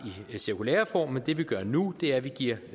i cirkulæreform men det vi gør nu er at vi giver